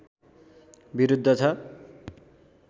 विरुद्ध छ